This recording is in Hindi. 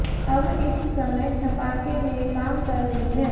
अब इस समय छपाके में काम कर रही है